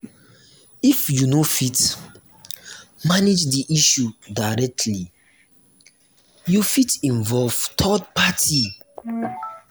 if you no fit manage di issue directly you fit involve third party